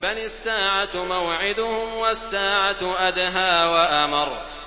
بَلِ السَّاعَةُ مَوْعِدُهُمْ وَالسَّاعَةُ أَدْهَىٰ وَأَمَرُّ